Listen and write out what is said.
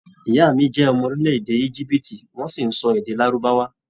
Ìyá mí jẹ ọmọ orílẹ̀-èdè íjíbítì, wọn sì n sọ èdè lárùbáwá.